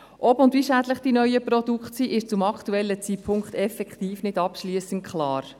Ob und wie schädlich die neuen Produkte sind, ist zum aktuellen Zeitpunkt nicht abschliessend klar.